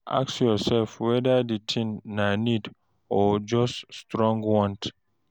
Ask yourself whether the thing na need or just strong want.